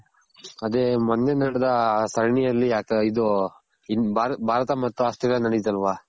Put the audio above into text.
ಅದೆ ಮೊನ್ನೆ ನಡೆದ ಸರಣಿಯಲ್ಲಿ ಅದೆ ಇದು ಭಾರತ ಮತ್ತು ಆಸ್ಟ್ರೇಲಿಯ ನೆಡಿತಲ್ವ